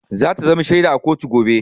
Za ta zamo shaida a kotu gobe.